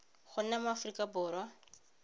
go nna mo aforika borwa